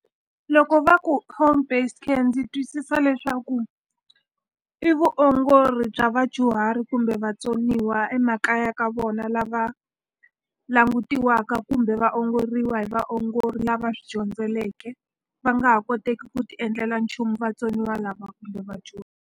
Loko va ku home-based care ndzi twisisa leswaku i vuongori bya vadyuhari kumbe vatsoniwa emakaya ka vona, lava langutiwaka kumbe va ongoriwa hi vaongori lava swi dyondzeleke. Va nga ha koteki ku ti endlela nchumu vatsoniwa lava kumbe vadyuhari.